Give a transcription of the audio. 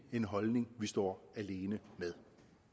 en holdning vi står alene med